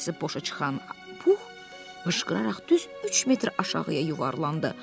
Pəncəsi boşa çıxan Pux qışqıraraq düz 3 metr aşağıya yuvarlandı.